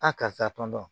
A karisa tɔn dɔn